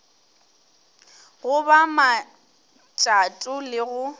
go ba matšato le go